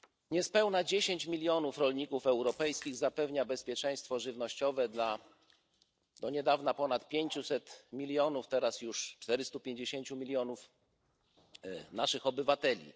Niespełna 10 milionów rolników europejskich zapewnia bezpieczeństwo żywnościowe dla do niedawna ponad 500 milionów, teraz już 450 milionów naszych obywateli.